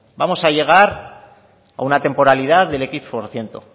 vamos a llegar a una temporalidad del equis por ciento